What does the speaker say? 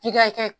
F'i ka kɛ